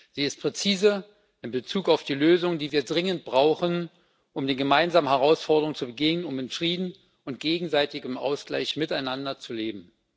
Sie ist präzise in Bezug auf die Lösungen, die wir dringend brauchen, um den gemeinsamen Herausforderungen zu begegnen, um in Frieden und gegenseitigem Ausgleich miteinander zu leben.